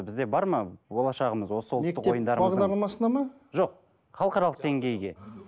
бізде бар ма болашағымыз осы ұлттық ойындарымыздың бағдарламасына ма жоқ халықаралық деңгейге